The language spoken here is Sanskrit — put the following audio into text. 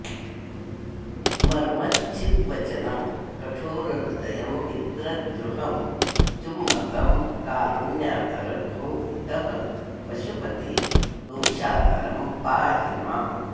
मर्मच्छिद्वचनं कठोरहृदयं मित्रद्रुहं चुम्बकं कारुण्याकर भो पितः पशुपते दोषाकरं पाहि माम्